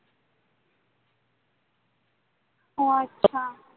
ও আচ্ছা